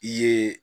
I ye